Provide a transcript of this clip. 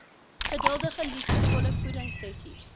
geduldige liefdevolle voedingsessies